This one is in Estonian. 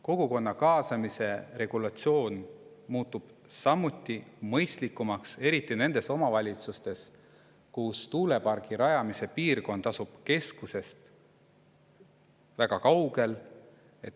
Kogukonna kaasamise regulatsioon muutub samuti mõistlikumaks, eriti nendes omavalitsustes, kus tuulepargi rajamise piirkond asub keskusest väga kaugel.